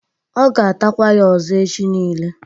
Ọ ga-atakwa ya ọzọ echi nile